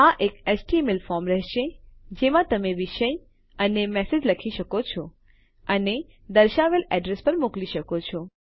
આ એક HTML form રહેશે જેમાં તમે વિષય અને મેસેજ લખી શકો છો અને દર્શાવેલ એડ્રેસ પર મોકલી શકો છો